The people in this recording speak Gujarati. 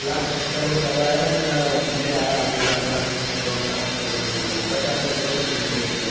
લાખ subscriber થવાય આયા અંન views હારા આવી હી લાખ લાખ ન દોડ્લખ એવા views જ આવી હી પાચા હાજર ઉપર જ views હોય ઇ ન